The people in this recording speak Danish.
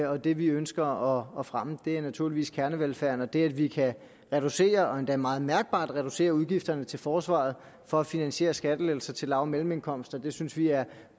og at det vi ønsker at fremme naturligvis er kernevelfærden og det at vi kan reducere og endda meget mærkbart reducere udgifterne til forsvaret for at finansiere skattelettelser til lav og mellemindkomster synes vi er